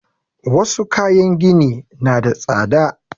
Wassu kayan gini na da tsada